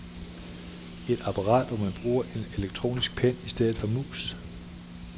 Et apparat, hvor man bruger en elektronisk pen i stedet for mus.